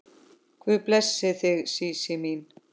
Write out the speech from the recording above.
Guð blessi þig Sísí mín.